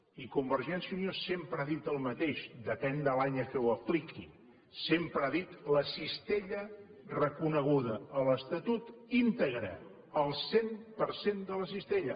i convergència i unió sempre ha dit el mateix depèn de l’any a què ho apliqui sempre ha dit la cistella reconeguda a l’estatut íntegra el cent per cent de la cistella